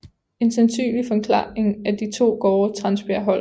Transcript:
En sandsynlig forklaring er de to gårde Transbjergholt